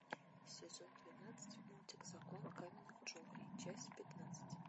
сезон двенадцать мультик закон каменных джунглей часть пятнадцать